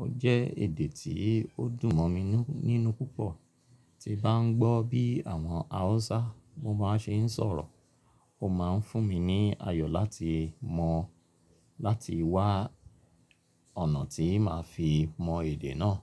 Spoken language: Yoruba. Ó jẹ́ èdè tí ó dùn mọ̀ mi nínú púpọ̀. Tí bà ń gbọ́ bí àwọn Hausa won máa ń ṣe sọ̀rọ̀, ó ma ń fún mi ní ayọ̀ láti mọ̀ n láti wá ọ̀nà tí màá fi mọn èdè náà.